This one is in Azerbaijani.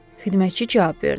Xidmətçi cavab verdi.